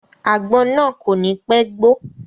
Àgbọn náà kò ní pẹ́ gbó.